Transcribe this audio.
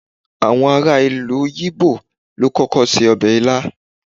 àwọn ará ìlú ibo lo kókó se obe ilá